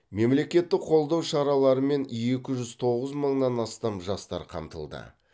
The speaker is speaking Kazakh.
мемлекеттік қолдау шараларымен екі жүз тоғыз мыңнан астам жастар қамтылды